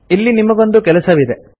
ಇಲ್ಲಿ ನಿಮಗೊಂದು ಕೆಲಸವಿದೆ